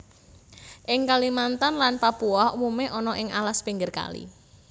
Ing Kalimantan lan Papua umume ana ing alas pinggir kali